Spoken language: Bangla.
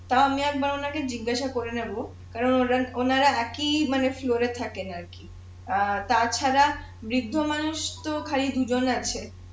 তাও আমি একবার ওনাকে জিজ্ঞাসা করে নেবো কেননা ওনারা একি ফ্লরে থাকেন আর কি অ্যাঁ তাছাড়া বৃদ্ধ্য মানুষ তো খালি দুজন আছে